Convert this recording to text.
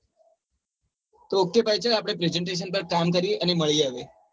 તો ok ભાઈ ચાલ આપડે presentation પર ફોન કરીયે અને મળીયે હવે